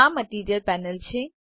આ material panel છે